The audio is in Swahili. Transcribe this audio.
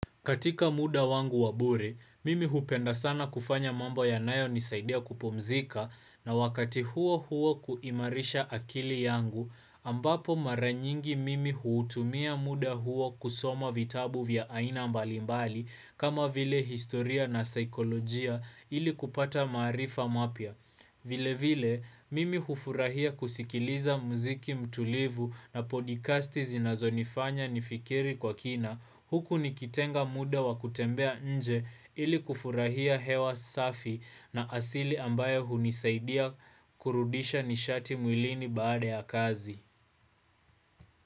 Katika muda wangu wa bure, mimi hupenda sana kufanya mambo yanayo nisaidia kupumzika na wakati huo huo kuimarisha akili yangu, ambapo maranyingi mimi huutumia muda huo kusoma vitabu vya aina mbalimbali kama vile historia na saikolojia ili kupata maarifa mapya. Vile vile, mimi hufurahia kusikiliza muziki mtulivu na podcasti zinazo nifanya nifikiri kwa kina huku nikitenga muda wa kutembea nje ili kufurahia hewa safi na asili ambayo hunisaidia kurudisha nishati mwilini baada ya kazi.